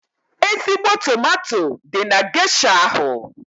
Ezigbo tomato dị na gesha ahụ.